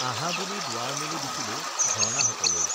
আঁহা বুলি দুৱাৰ মেলি দিছিলো ঝৰ্ণাহঁতলৈ